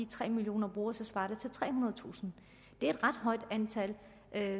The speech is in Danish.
tre millioner brugere svarer det til trehundredetusind det er et ret højt antal